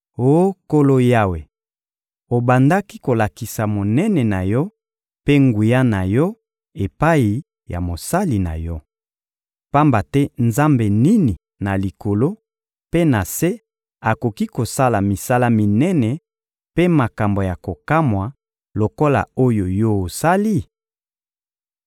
— Oh Nkolo Yawe, obandaki kolakisa monene na Yo mpe nguya na Yo epai ya mosali na Yo. Pamba te nzambe nini na likolo mpe na se akoki kosala misala minene mpe makambo ya kokamwa lokola oyo Yo osali?